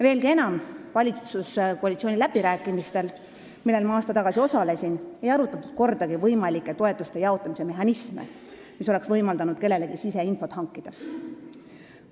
Veelgi enam, valitsuskoalitsiooni läbirääkimistel, millel ma aasta tagasi osalesin, ei arutatud kordagi võimalike toetuste jaotamise mehhanisme, mis oleks võimaldanud kellelegi siseinfot hankida.